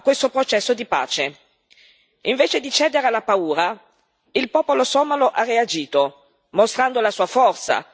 Invece di cedere alla paura, il popolo somalo ha reagito, mostrando la sua forza e la capacità di rimanere unito.